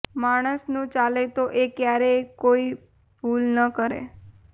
માણસનું ચાલે તો એ ક્યારેય કોઈ ભૂલ ન કરે